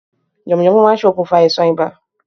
Yànmùyánmú ma n se okùnfà àisàn ibà